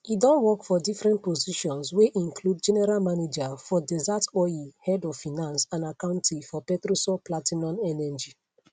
e don work for different positions wey include general manager for desert oil head of finance and accounting for petrosol platinum energy